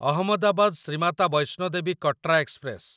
Ahmedabad Shri Mata Vaishno Devi Katra express